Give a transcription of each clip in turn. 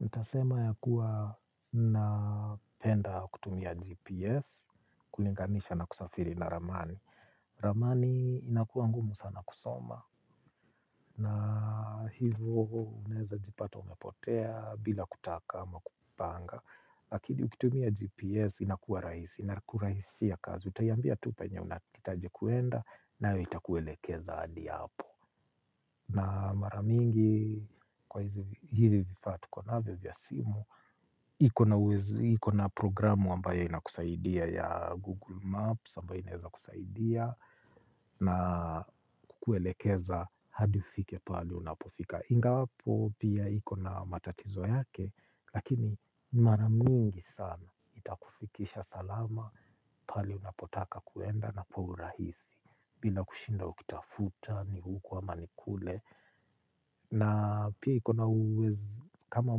Ntasema ya kuwa napenda kutumia GPS kulinganisha na kusafiri na ramani. Ramani inakuwa ngumu sana kusoma na hivo unaezajipata umepotea bila kutaka ama kupanga. Lakini ukitumia GPS inakuwa raisi inakuraisishia kazi. Utaiambia tu penye unataji kuenda nayo itakuelekeza adi hapo. Na mara mingi kwa hivi vifaa tuko navyo vya simu. Iko na programu ambayo inakusaidia ya Google Maps ambayo inaeza kusaidia. Na kukuelekeza hadi ufike pale unapofika. Ingawapo pia iko na matatizo yake. Lakini mara mingi sana itakufikisha salama. Pale unapotaka kuenda na kwa urahisi bila kushinda ukitafuta ni huku ama ni kule. Na pia iko na kama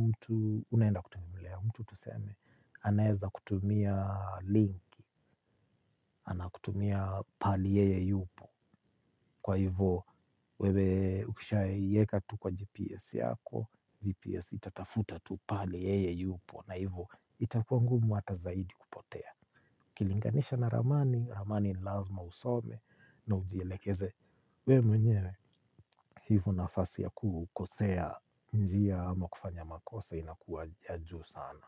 mtu unaenda kutembelea, mtu tuseme, anaeza kutumia linki, anakutumia pali yeye yupo kwa hivo wewe ukishaieka tu kwa GPS yako, GPS itatafuta tu pahali yeye yupo na hivo itakua ngumu hata zaidi kupotea. Ukilinganisha na ramani, ramani ni lazima usome na ujielekeze. We mwenyewe hivo nafasi ya kukosea njia ama kufanya makosa inakuwa ya juu sana.